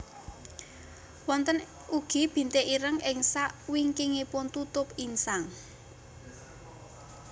Wonten ugi bintik ireng ing sakwingkingipun tutup insang